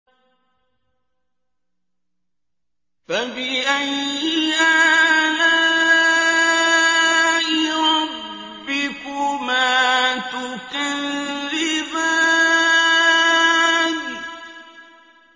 فَبِأَيِّ آلَاءِ رَبِّكُمَا تُكَذِّبَانِ